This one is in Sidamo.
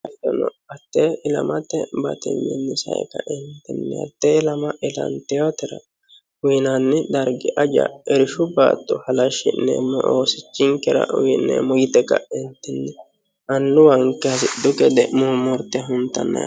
Hate ilamate batinyinni sae kaentinni hate ilama ilantinotera uyinanni dargi aja irshu baatto halashineemmo doogo oosichinkera uyineemmo yte kaentinni annuwanke hasidhu gede murimurte huntanna.